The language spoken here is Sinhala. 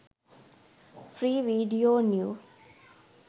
free video new